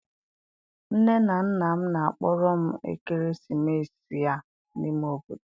nne na nna m na-akpọrọ m ekeresimesi a n'ime obodo.